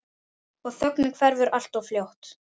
Og þögnin hverfur alltof fljótt.